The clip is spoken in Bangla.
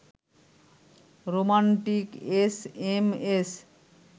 romantic SMS